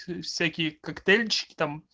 всякие коктейльчики там